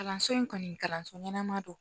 Kalanso in kɔni kalanso ɲɛnama don